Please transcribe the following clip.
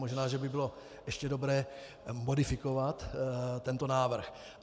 Možná že by bylo ještě dobré modifikovat tento návrh.